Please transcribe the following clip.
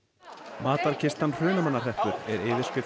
matarkistan Hrunamannahreppur er yfirskrift